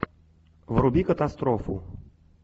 вруби катастрофу